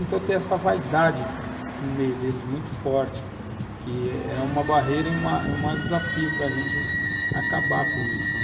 Então, tem essa vaidade no meio deles muito forte, que é uma barreira e uma uma, um desafio para a gente acabar com isso, né.